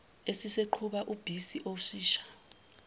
eseqhuba ubhisi oshisha